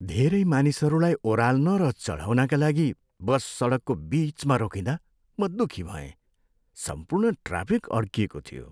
धेरै मानिसहरूलाई ओराल्न र चढाउनका लागि बस सडकको बिचमा रोकिँदा म दुखी भएँ। सम्पूर्ण ट्राफिक अड्किएको थियो।